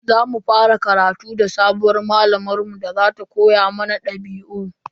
Za mu fara karatu da sabuwar malamar mu da za ta koya mana dabi'u.